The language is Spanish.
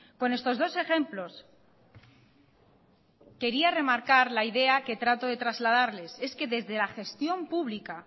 con estos dos ejemplos quería remarcar la idea que trato de trasladarles es que desde la gestión pública